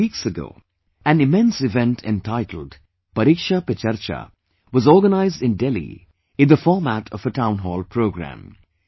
A few weeks ago, an immense event entitled 'ParikshaPeCharcha' was organised in Delhi in the format of a Town Hall programme